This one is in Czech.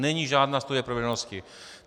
Není žádná studie proveditelnosti.